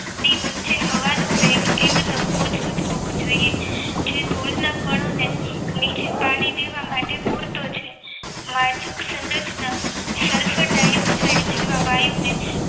ની વચ્ચે હવાનો વેગ એકદમ ઓછો જ હોવો જોઈએ જે ધૂળના કણો નીચે કાઢી દેવા માટે પૂરતો છે માયચક સુરજના સલ્ફર ડાયોક્સાઇડ જેવા વાયુને